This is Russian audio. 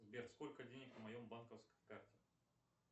сбер сколько денег на моем банковской карте